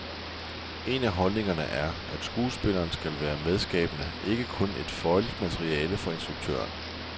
En af holdningerne er, at skuespilleren skal være medskabende, ikke kun et føjeligt materiale for instruktøren.